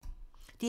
DR P2